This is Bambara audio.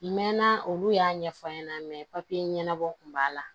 Mɛ na olu y'a ɲɛfɔ n ɲɛna papiye ɲɛnabɔ kun b'a la